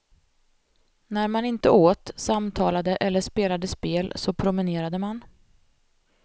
När man inte åt, samtalade eller spelade spel så promenerade man.